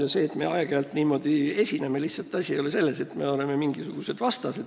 Ja see, et me aeg-ajalt niimoodi esineme – asi ei ole selles, nagu me oleksime mingisugused vastased.